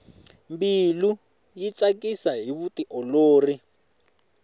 mbilu yi tsakisa hi vutiolori